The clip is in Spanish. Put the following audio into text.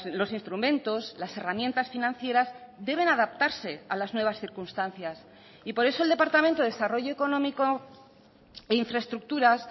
los instrumentos las herramientas financieras deben adaptarse a las nuevas circunstancias y por eso el departamento de desarrollo económico e infraestructuras